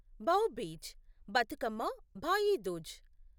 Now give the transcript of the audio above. Bhau Beej Bathukamma Bhai Dooj